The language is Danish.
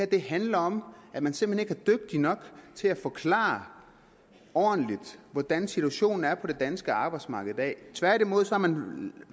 det handler om at man simpelt hen ikke er dygtig nok til at forklare ordentligt hvordan situationen er på det danske arbejdsmarked i dag tværtimod har man